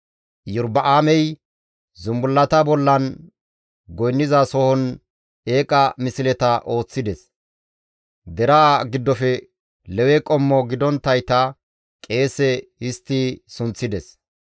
Iyorba7aamey zumbullata bollan goynnizasohon eeqa misleta ooththides; deraa giddofe Lewe qommo gidonttayta qeese histti sunththides.